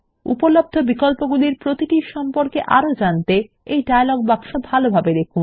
উপলব্ধ বিকল্পগুলির প্রতিটির সম্পর্কে আরো জানতে এই ডায়লগ বাক্স ভালোভাবে দেখুন